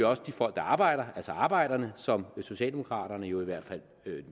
også de folk der arbejder altså arbejderne som socialdemokraterne jo i hvert fald